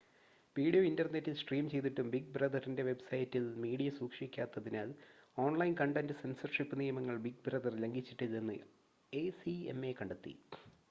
video ഇൻ്റർനെറ്റിൽ stream ചെയ്തിട്ടും big ബ്രദറിൻ്റെ വെബ്സൈറ്റിൽ മീഡിയ സൂക്ഷിക്കാത്തതിനാൽ ഓൺലൈൻ കണ്ടൻ്റ് സെൻസർഷിപ് നിയമങ്ങൾ ബിഗ് ബ്രദർ ലംഘിച്ചിട്ടില്ലെന്ന് എസിഎംഎ കണ്ടെത്തി